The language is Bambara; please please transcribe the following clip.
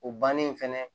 O bannen fɛnɛ